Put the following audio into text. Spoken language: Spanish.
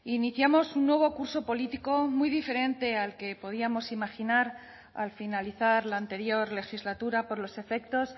iniciamos un nuevo curso político muy diferente al que podíamos imaginar al finalizar la anterior legislatura por los efectos